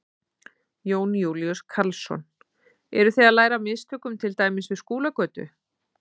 Jón Júlíus Karlsson: Eru þið að læra af mistökum til dæmis við Skúlagötu?